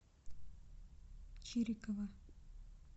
чирикова